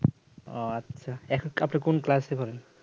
ও আচ্ছা এক আপনি কোন class পড়েন